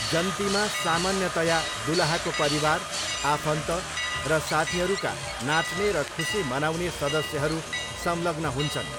जन्तीमा सामान्यतया दुलहाको परिवार, आफन्त र साथीहरूका नाच्ने र खुसी मनाउने सदस्यहरू संलग्न हुन्छन्।